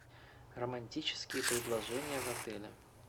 романтические предложения в отеле